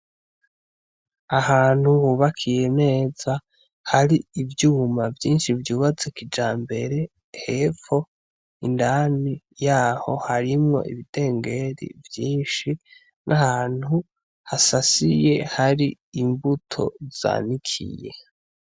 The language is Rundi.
Ahantu hubakiye neza hari ivyuma vyinshi vyubatse kijambere, hepfo indani yaho harimwo ibidengeri vyinshi n'ahantu hasasiye hari imbuto zanikiye.